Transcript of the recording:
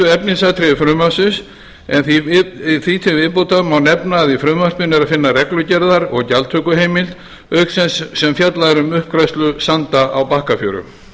efnisatriði frumvarpsins en því til viðbótar má nefna að í frumvarpinu er að finna reglugerðar og gjaldtökuheimild auk þess sem fjallað er um uppgræðslu sanda á bakkafjöru